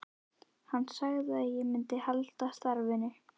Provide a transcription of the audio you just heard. Hann sagði að ég myndi halda starfinu.